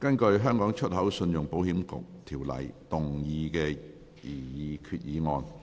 根據《香港出口信用保險局條例》動議的擬議決議案。